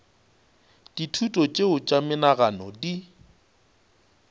dithuto tšeo tša menagano di